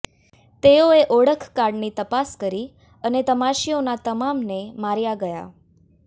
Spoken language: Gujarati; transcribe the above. તેઓએ ઓળખ કાર્ડોની તપાસ કરી અને તમાશીઓના તમામને માર્યા ગયા